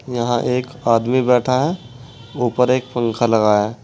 यहां एक आदमी बैठा है ऊपर एक पंखा लगा है।